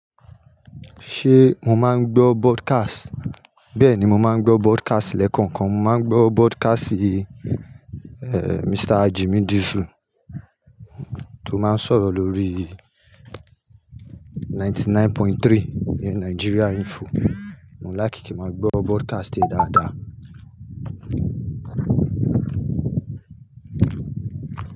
Ṣé mo máa ń gbọ́ broadcast? Bẹ́ẹ̀ni, mo máa ń gbọ́ broadcast lẹ́kọ̀ọ̀kan. Mo máa ń gbọ́ broadcast ì, eeh, Mr. Jimmy Diesel tó máa ń sọ̀rọ̀ lórí 99.3 Nigeria Info. Mo ń láti kí n máa gbọ́ broadcast e dáadáa.